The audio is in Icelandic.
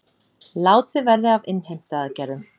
Látið verði af innheimtuaðgerðum